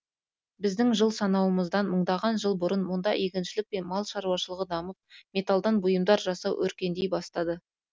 біздің жыл санауымыздан мыңдаған жыл бұрын мұнда егіншілік пен мал шаруашылығы дамып металдан бұйымдар жасау өркендей бастады